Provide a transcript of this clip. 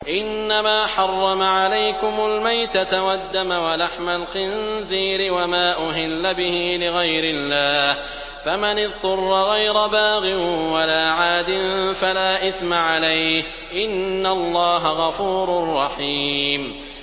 إِنَّمَا حَرَّمَ عَلَيْكُمُ الْمَيْتَةَ وَالدَّمَ وَلَحْمَ الْخِنزِيرِ وَمَا أُهِلَّ بِهِ لِغَيْرِ اللَّهِ ۖ فَمَنِ اضْطُرَّ غَيْرَ بَاغٍ وَلَا عَادٍ فَلَا إِثْمَ عَلَيْهِ ۚ إِنَّ اللَّهَ غَفُورٌ رَّحِيمٌ